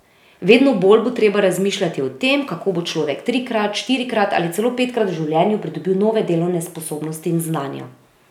Vedno bolj bo treba razmišljati o tem, kako bo človek trikrat, štirikrat ali celo petkrat v življenju pridobil nove delovne sposobnosti in znanja.